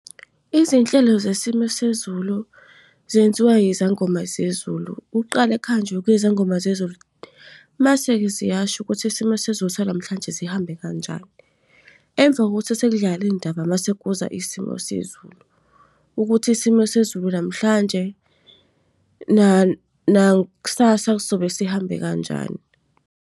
Izinhlelo zesimo sezulu zenziwa yizangoma zezulu. Kuqale kuhanjwe kuyiwe kwizangoma zezulu, mase-ke ziyasho ukuthi isimo sezulu sanamhlanje sihambe kanjani. Emva kokuthi sekudlale iy'ndaba, mase kuza isimo sezulu. Ukuthi isimo sezulu namhlanje nakusasa sobe sihambe kanjani.